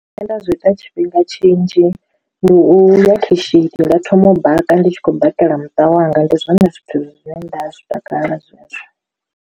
Zwine nda zwi ita tshifhinga tshinzhi ndi u ya khishini nda thoma u baka ndi tshi khou bikela muṱa wanga ndi zwone zwithu zwine nda zwi takalela zwezwo.